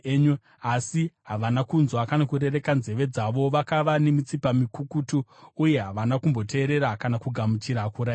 Asi havana kunzwa kana kurereka nzeve dzavo; vakava nemitsipa mikukutu uye havana kumboteerera kana kugamuchira kurayirwa.